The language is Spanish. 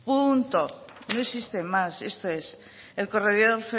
punto no existe más esto es el corredor